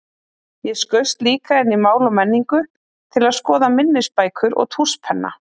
Ég skaust líka inn í Mál og menningu til að skoða minnisbækur og tússpenna.